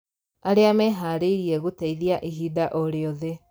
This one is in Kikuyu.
Arĩa meharĩirie gũteithia ihinda o rĩothe